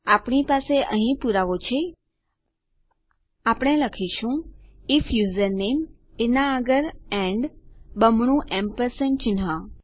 આપણી પાસે અહીં પુરાવા છેઆપણે લખીશું આઇએફ યુઝરનેમ એના આગળ એન્ડ બમણું એમ્પરસેંડ ચિન્હ